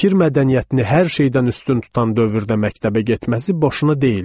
Fikir mədəniyyətini hər şeydən üstün tutan dövrdə məktəbə getməsi boşuna deyildi.